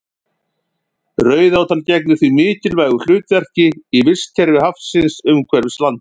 Rauðátan gegnir því mikilvægu hlutverki í vistkerfi hafsins umhverfis landið.